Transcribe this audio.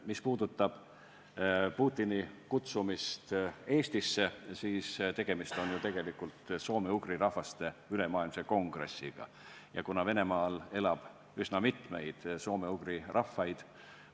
Mis puudutab Putini kutsumist Eestisse, siis tegelikult on ju tegemist soome-ugri rahvaste ülemaailmse kongressiga ja ka Venemaal elab üsna mitmeid soome-ugri rahvaid.